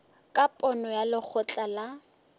ka pono ya lekgotla la